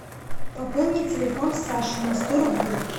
пополни телефон саши на сто рублей